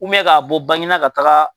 Umɛ ka bɔ Baginda ka taga